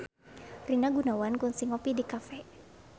Rina Gunawan kungsi ngopi di cafe